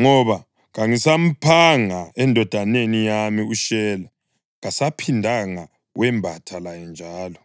ngoba kangisamphanga endodaneni yami uShela.” Kasaphindanga wembatha laye njalo.